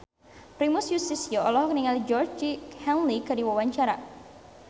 Primus Yustisio olohok ningali Georgie Henley keur diwawancara